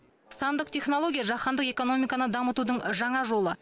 сандық технология жаһандық экономиканы дамытудың жаңа жолы